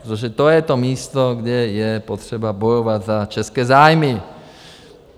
Protože to je to místo, kde je potřeba bojovat za české zájmy!